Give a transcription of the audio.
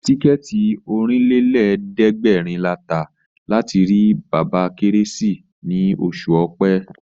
Tíkẹ̀ẹ̀tì Ọ̀rìnlélẹ̀ẹ́dẹ́gbèrin la tà láti rí bàbá Kérésìmesì ní oṣù Ọ̀pẹ